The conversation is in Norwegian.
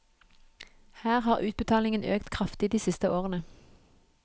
Her har utbetalingen økt kraftig de siste årene.